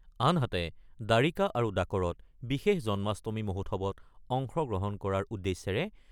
আনহাতে, দ্বাৰিকা আৰু ডাকৰত বিশেষ জন্মাষ্টমী মহোৎসৱত অংশ গ্ৰহণ কৰাৰ